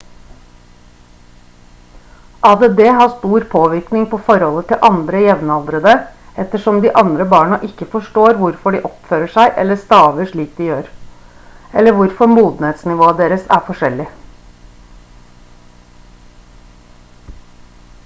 add har stor påvirkning på forholdet til andre jevnaldrende ettersom de andre barna ikke forstår hvorfor de oppfører seg eller staver slik de gjør eller hvorfor modenhetsnivået deres er forskjellig